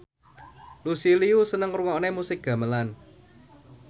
Lucy Liu seneng ngrungokne musik gamelan